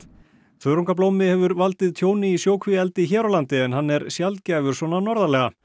þörungablómi hefur valdið tjóni í sjókvíaeldi hér á landi en hann er sjaldgæfur svona norðarlega